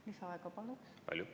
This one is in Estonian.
Lisaaega, palun!